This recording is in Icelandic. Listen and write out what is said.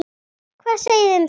Hvað segið þið um það?